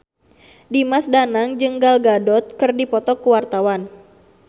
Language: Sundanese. Dimas Danang jeung Gal Gadot keur dipoto ku wartawan